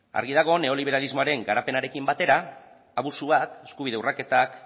argi dago neoliberalismoaren garapenarekin batera abusuak eskubide urraketak